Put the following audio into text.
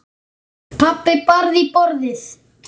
Pabbi barði í borðið.